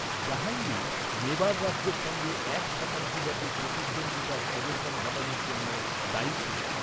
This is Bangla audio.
জাহাঙ্গীর মেবার রাজ্যের সঙ্গে এক শতাব্দীব্যাপী প্রতিদ্বন্দ্বিতার অবসান ঘটানোর জন্য দায়ী ছিলেন।